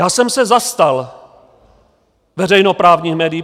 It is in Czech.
Já jsem se zastal veřejnoprávních médií.